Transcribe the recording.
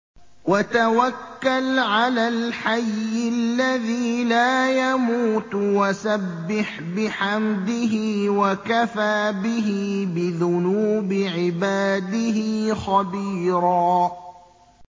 وَتَوَكَّلْ عَلَى الْحَيِّ الَّذِي لَا يَمُوتُ وَسَبِّحْ بِحَمْدِهِ ۚ وَكَفَىٰ بِهِ بِذُنُوبِ عِبَادِهِ خَبِيرًا